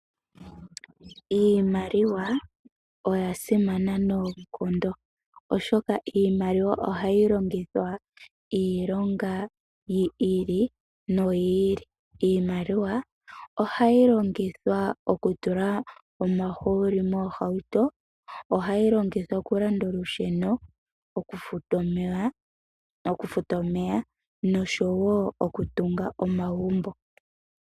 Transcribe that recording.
Iimaliwa oya simana noonkondo oshoka iimaliwa ohayi longithwa iilonga yi ili noyiili. Iimaliwa ohayi longithwa oku tula omahooli moohauto, ohayi longithwa oku landa olusheno, okufuta omeya noshowo oku tunga omagumbo.